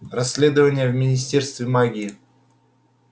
расследование в министерстве магии